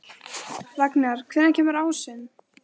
Ragnar, hvenær kemur ásinn?